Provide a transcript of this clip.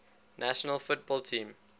national football team